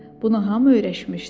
Buna hamı öyrəşmişdi.